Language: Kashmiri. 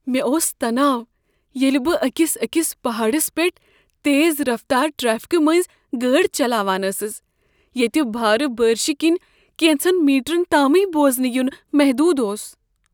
مےٚ اوس تناو ییٚلہ بہٕ أکس أكِس پہاڈس پیٹھ تیز رفتار ٹرٛیفکہٕ مٔنٛزۍ گٲڑۍ چلاوان ٲسٕس ییٚتہ بھارٕ بٲرِشہِ كِنۍ کٮ۪نٛژن میٖٹرن تامٕے بوزنہٕ ین محدود اوس۔